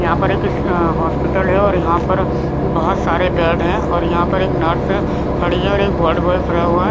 यहां पर एक स्स अ हॉस्पिटल है और यहां पर बहुत सारे बेड है और यहां पर एक नर्स खड़ी है और एक बेड बॉय खड़ा हुआ है।